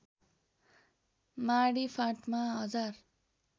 माडी फाँटमा हजार